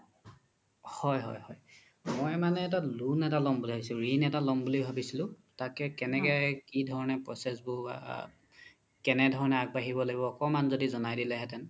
হয় হয় মই মানে loan এটা লম বুলি ভাবি আছিলো ৰিন এটা লম বুলি ভাবি আছিলো তাত কি ধৰণে process বোৰ কেনে ধৰণে আগবাঢ়িব লাগিব অকমান য্দি জনাই দিলে হেতেন